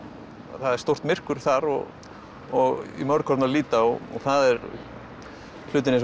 það er stórt myrkur þar og og í mörg horn að líta og það er hlutir eins og